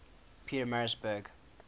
pietermaritzburg